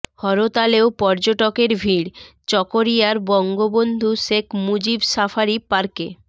হরতালেও পর্যটকের ভিড় চকরিয়ার বঙ্গবন্ধু শেখ মুজিব সাফারি পার্কে